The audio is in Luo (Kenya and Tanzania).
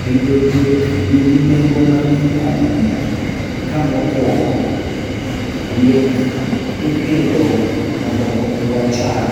Pidho diek nigi nengo mang'eny ahinya. Ka mokuongo, diek ipidho mondo omiwa chak